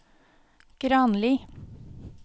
Granli